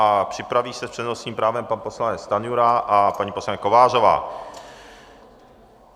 A připraví se s přednostním právem pan poslanec Stanjura a paní poslankyně Kovářová.